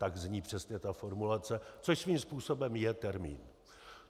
Tak zní přesně ta formulace, což svým způsobem je termín.